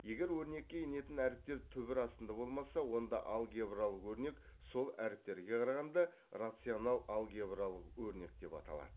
егер өрнекке енетін әріптер түбір астында болмаса онда алгебралық өрнек сол әріптерге қарағанда рационал алгебралық өрнек деп аталады